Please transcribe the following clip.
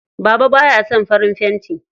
Baba baya son farin fenti.